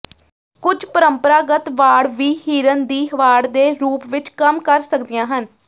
ਕੁਝ ਪਰੰਪਰਾਗਤ ਵਾੜ ਵੀ ਹਿਰਣ ਦੀ ਵਾੜ ਦੇ ਰੂਪ ਵਿਚ ਕੰਮ ਕਰ ਸਕਦੀਆਂ ਹਨ